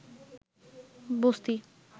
বস্তি